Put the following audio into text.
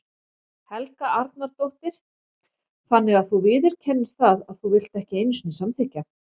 Helga Arnardóttir: Þannig að þú viðurkennir það að þú vilt ekki einu sinni samþykkja?